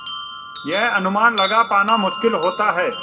यह अनुमान लगा पाना मुश्किल होता है